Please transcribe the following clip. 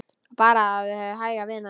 Bara hafa þig hæga, vina.